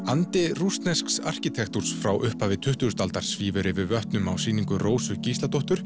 andi rússnesks arkitektúrs frá upphafi tuttugustu aldar svífur yfir vötnum á sýningu Rósu Gísladóttur